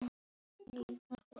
Kaffi í glösum.